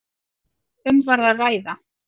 Um var að ræða